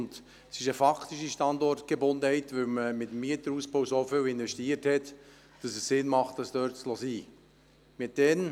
Es handelt sich hier um eine faktische Standortgebundenheit, weil so viel in den Ausbau investiert wurde, sodass es sinnvoll ist, dort zu bleiben.